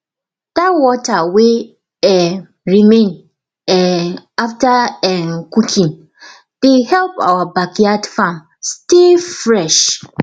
that water wey um remain um after um cooking dey help our backyard farm stay fresh